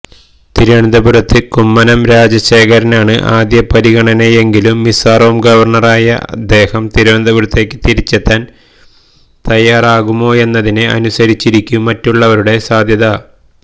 തിരുവനന്തപുരത്ത് കുമ്മനം രാജശേഖരനാണ് ആദ്യ പരിഗണനയെങ്കിലും മിസോറാം ഗവര്ണറായ അദ്ദേഹം തിരുവനന്തപുരത്തേക്ക് തിരിച്ചെത്താന് തയ്യാറാകുമോയെന്നതിനെ അനുസരിച്ചിരിക്കും മറ്റുള്ളവരുടെ സാധ്യത